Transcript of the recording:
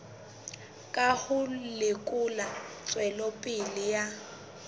ka ho lekola tswelopele ya